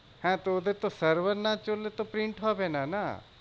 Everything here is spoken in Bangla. হ্যাঁ তো ওদের তো server না চললে তো print হবে না। না?